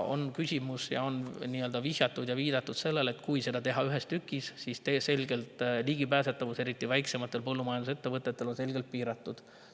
On vihjatud ja viidatud sellele küsimusele, et kui teha seda ühes tükis, siis on ligipääsetavus, eriti väiksematel põllumajandusettevõtetel, selgelt piiratud.